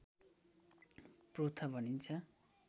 पोथ्रा भनिन्छ